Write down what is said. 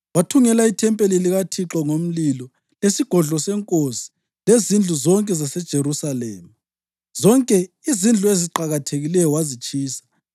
Wathungela ithempeli likaThixo ngomlilo, lesigodlo senkosi lezindlu zonke zaseJerusalema. Zonke izindlu eziqakathekileyo wazitshisa.